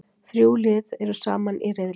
Þrjú lið eru saman í riðli.